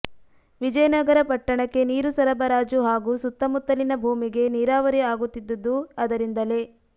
ವಿಜಯನಗರ ಪಟ್ಟಣಕ್ಕೆ ನೀರು ಸರಬಾರಾಜು ಹಾಗೂ ಸುತ್ತಮುತ್ತಲಿನ ಭೂಮಿಗೆ ನೀರಾವರಿ ಆಗುತ್ತಿದ್ದುದು ಅದರಿಂದಲೇ